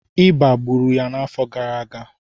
ịba gburu ya n'afọ gara aga